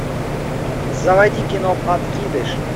заводи кино подкидыш